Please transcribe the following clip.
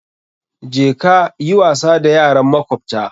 Je ka yi wasa da yaran makwabta!